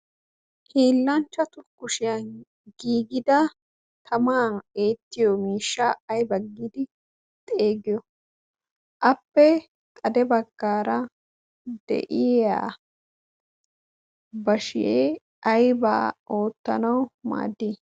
hiillanchchatu kushiyan giigida tamaa eettiyo miishsha aiba giidi xeeggiyo? appe xade baggaara de7iya bashee aibaa oottanawu maaddii?